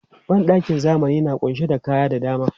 Ban ɗakin zamani na ƙunshe da kaya da dama.